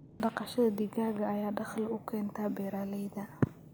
Dhaqashada digaaga ayaa dakhli u keenta beeralayda.